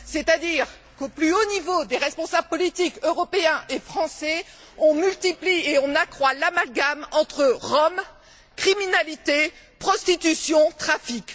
C'est à dire qu'au plus haut niveau des responsables politiques européens et français on multiplie et on accroît l'amalgame entre Roms, criminalité, prostitution, trafics.